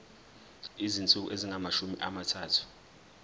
izinsuku ezingamashumi amathathu